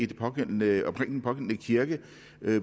den pågældende kirke